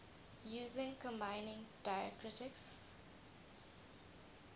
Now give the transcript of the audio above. using combining diacritics